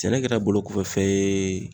Sɛnɛ kɛra bolo kɔfɛ fɛn ye